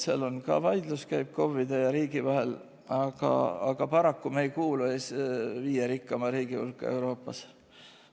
Seal käib ka vaidlus KOV-ide ja riigi vahel, aga paraku me ei kuulu viie rikkama riigi hulka Euroopas.